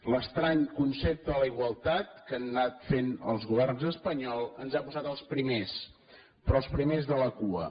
l’estrany concepte de la igualtat que han anat fent els governs espanyols ens ha posat els primers però els primers de la cua